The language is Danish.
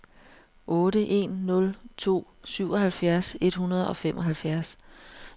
otte en nul to syvoghalvfjerds et hundrede og femoghalvfjerds